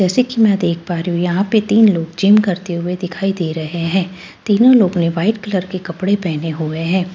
जैसे कि मैं देख पा रही हूं यहां पे तीन लोग जिम करते हुए दिखाई दे रहे हैं तीनों लोग ने वाइट कलर के कपड़े पहने हुए हैं।